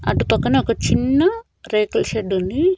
అటు పక్కన ఒక చిన్న రేకుల షెడ్డు ఉంది.